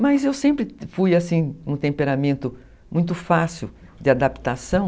Mas eu sempre fui, assim, um temperamento muito fácil de adaptação.